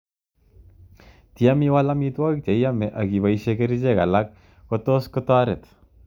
Tiem iwal amitwokik che iame ak ipoishe kerichek alak ko tos taret.